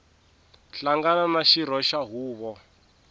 hlangana na xirho xa huvo